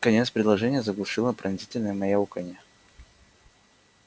конец предложения заглушило пронзительное мяуканье